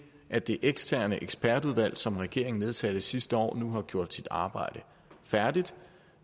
at det eksterne ekspertudvalg som regeringen nedsatte sidste år nu har gjort sit arbejde færdigt